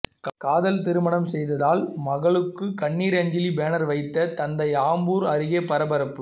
காதல் திருமணம் செய்ததால் மகளுக்கு கண்ணீர் அஞ்சலி பேனர் வைத்த தந்தை ஆம்பூர் அருகே பரபரப்பு